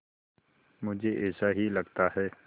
मुझे ऐसा ही लगता है